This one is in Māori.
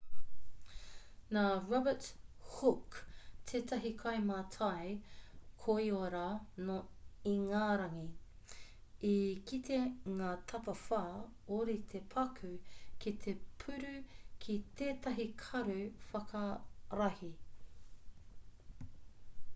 nā robert hooke tētahi kaimātai koiora nō ingarangi i kite ngā tapawhā ōrite paku ki te puru ki tētahi karu whakarahi